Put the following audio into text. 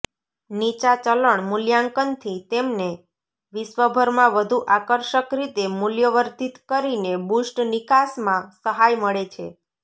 નીચા ચલણ મૂલ્યાંકનથી તેમને વિશ્વભરમાં વધુ આકર્ષક રીતે મૂલ્યવર્ધિત કરીને બુસ્ટ નિકાસમાં સહાય મળે છે